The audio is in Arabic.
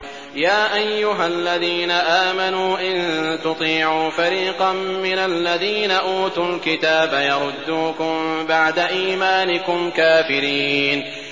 يَا أَيُّهَا الَّذِينَ آمَنُوا إِن تُطِيعُوا فَرِيقًا مِّنَ الَّذِينَ أُوتُوا الْكِتَابَ يَرُدُّوكُم بَعْدَ إِيمَانِكُمْ كَافِرِينَ